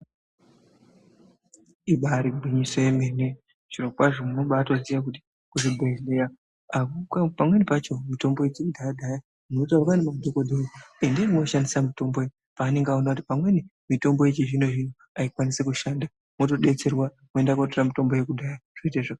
Ibari gwinyiso yemene zviro kwazvo munobatoziya kuti muzvibhedhleya pamweni pacho mitombo dzekudhaya-dhaya munotaurirwa ngemadhogodheya kuti endai moshandisa mitombo iyi. Paanonga aona kuti pamweni mitombo yechizvino-zvino haikwanisi kushanda motobetserwa moenda kotora mitombo yakudhaya zvoita zvakanaka.